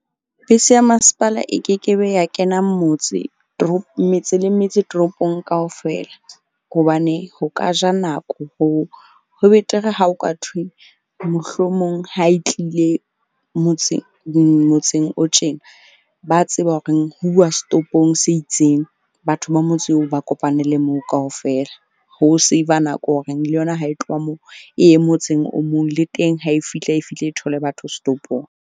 Bese ya masepala e ke ke be ya kena motse metse le metse toropong kaofela. Hobane ho ka ja nako hoo, ho betere ha o ka thwe, mohlomong ha e tlile motseng o tjena ba tseba horeng ho uwa setopong se itseng. Batho ba motse oo ba kopanele moo kaofela. Ho save-a nako horeng le yona ha e tloha moo e ye motseng o mong, le teng ha e fihla, e fihle e thole batho setopong.